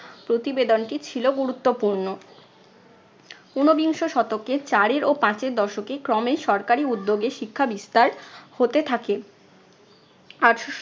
প্রতিবেদনটি ছিল গুরুত্বপূর্ণ। ঊনবিংশ শতকে চারের ও পাঁচের দশকে ক্রমেই সরকারি উদ্যোগে শিক্ষা বিস্তার হতে থাকে। আঠারোশো